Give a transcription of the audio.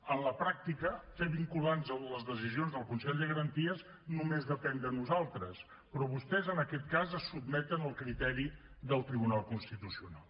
en la pràctica fer vinculants les decisions del consell de garanties només depèn de nosaltres però vostès en aquest cas es sotmeten al criteri del tribunal constitucional